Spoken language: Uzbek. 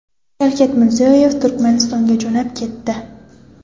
Shavkat Mirziyoyev Turkmanistonga jo‘nab ketdi.